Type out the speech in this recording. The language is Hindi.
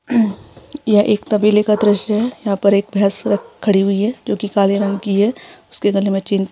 यह एक तबेले का दृश्य है यहाँ पर एक भैंस खड़ी हुई है जो की काले रंग की है उसके गले मे चैन पड़ी हुई है।